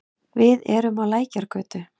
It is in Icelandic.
Við erum á Lækjargötu.